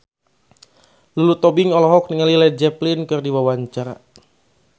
Lulu Tobing olohok ningali Led Zeppelin keur diwawancara